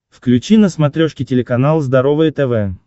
включи на смотрешке телеканал здоровое тв